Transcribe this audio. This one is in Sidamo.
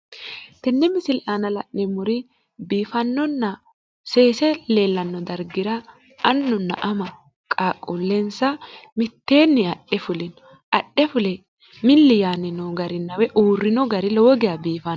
Tenne misile aana la'neemmori biifannonna seese leellanno darga annunna ama qaaqquullensa mitteenni adhe fulino. Adhe fule milli yaanni noo garinna woyi uurrino gari lowo geya biifanno.